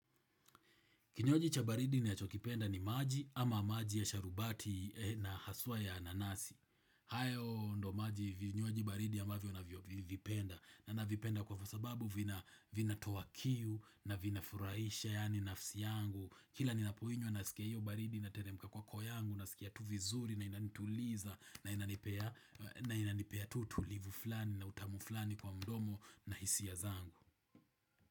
Kinywaji cha baridi ninachokipenda ni maji ama maji ya sharubati na haswa ya nanasi. Hayo ndo maji vinywaji baridi amavyo na vipenda. Ninavipenda kwa sababu vinatoa kiu na vinafurahisha yani nafsi yangu. Kila ni apoinywa na sikia iyo baridi inateremka kwa kwa kwa yangu nasikia tu vizuri na inanituliza na inanipea tutulivu fulani na utamu fulani kwa mdomo na hisia zangu.